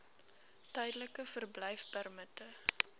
tydelike verblyfpermitte